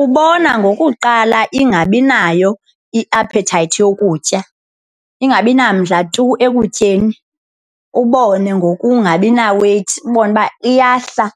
Ubona ngokuqala ingabi nayo i-appetite yokutya ingabi namandla tu ekutyeni ubone ngokungabi na-weight ubone uba iyahla